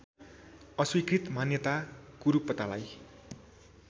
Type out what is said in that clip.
अस्वीकृत मान्यता कुरूपतालाई